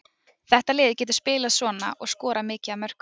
Þetta lið getur spilað svona og skorað mikið af mörkum.